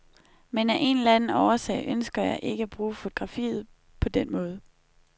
Men af en eller anden årsag ønsker jeg ikke at bruge fotografiet på den måde.